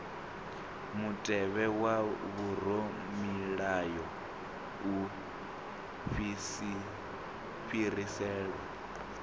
mutevhe wa vhoramilayo u fhiriselwa